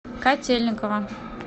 котельниково